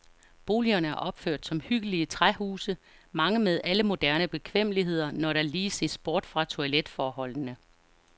Boligerne er opført som hyggelige træhuse, mange med alle moderne bekvemmeligheder, når der lige ses bort fra toiletforholdene.